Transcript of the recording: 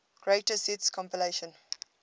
greatest hits compilation